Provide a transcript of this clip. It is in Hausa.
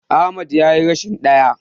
Ahmad yayi rashin ɗaya.